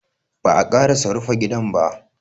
Ba'a ƙarasa rufa gidan ba.